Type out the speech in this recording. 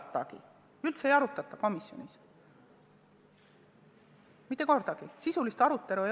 Neid komisjonis üldse ei arutata, mitte kordagi ei olnud sisulist arutelu.